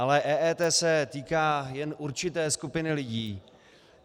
Ale EET se týká jen určité skupiny lidí.